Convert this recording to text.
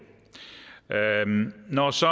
når så